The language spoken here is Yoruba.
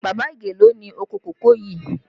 Baba Ige ló ni oko kòkó yii